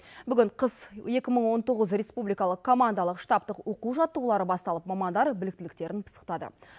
бүгін қыс екі мың он тоғыз республикалық командалық штабтық оқу жаттығулары басталып мамандар біліктіліктерін пысықтады